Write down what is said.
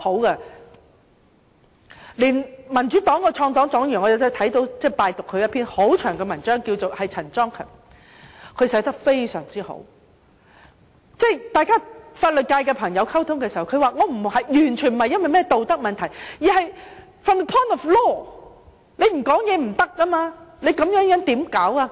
我拜讀了民主黨創黨黨員陳莊勤撰寫的一篇很長的文章，他寫得非常好，他說與法律界人士溝通時，他也表示他的意見完全不是基於道德問題，而是 from the point of law 不得不提出意見。